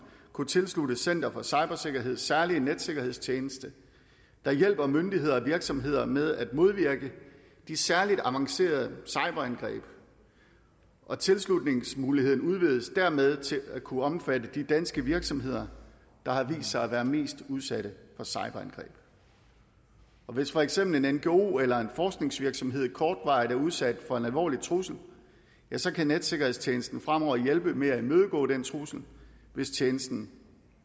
kunne tilsluttes center for cybersikkerheds særlige netsikkerhedstjeneste der hjælper myndigheder og virksomheder med at modvirke de særligt avancerede cyberangreb og tilslutningsmuligheden udvides dermed til at kunne omfatte de danske virksomheder der har vist sig at være mest udsatte for cyberangreb hvis for eksempel en ngo eller en forskningsvirksomhed kortvarigt er udsat for en alvorlig trussel kan netsikkerhedstjenesten fremover hjælpe med at imødegå den trussel hvis tjenesten